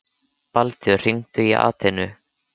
Baldur, hringdu í Atenu.